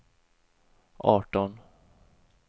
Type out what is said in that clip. arton